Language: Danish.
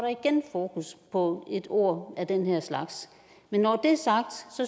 fokus på et ord af den her slags men når det er sagt